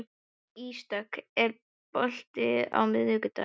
Ísdögg, er bolti á miðvikudaginn?